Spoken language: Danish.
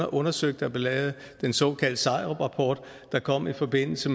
undersøgt der blev lavet den såkaldte seieruprapport der kom i forbindelse